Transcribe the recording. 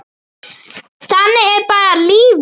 Þannig er bara lífið.